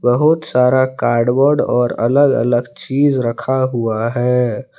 बहुत सारा कार्डबोर्ड और अलग अलग चीज रखा हुआ है।